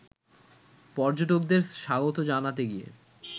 পর্যটকদের স্বাগত জানাতে গিয়ে